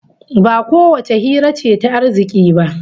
Ba kowace hira ce ta arziki ba